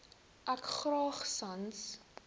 ek graag sans